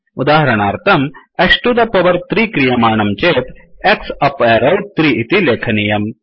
उदाहरणार्थं X to the power 3 क्रियमाणं चेत् x अप् एरौ 3 इति लेखनीयम्